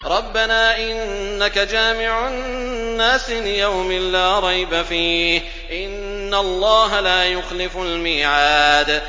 رَبَّنَا إِنَّكَ جَامِعُ النَّاسِ لِيَوْمٍ لَّا رَيْبَ فِيهِ ۚ إِنَّ اللَّهَ لَا يُخْلِفُ الْمِيعَادَ